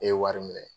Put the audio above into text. Ne ye wari minɛ